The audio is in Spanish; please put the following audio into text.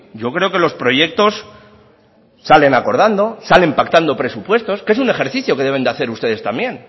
yo creo que los proyectos salen acordando salen pactando presupuestos que es un ejercicio que deben de hacer ustedes también